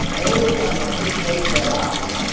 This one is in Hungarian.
Európának itt helyt kell állnia.